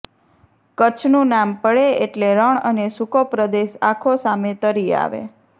કચ્છનું નામ પડે એટલે રણ અને સૂકો પ્રદેશ આખો સામે તરી આવે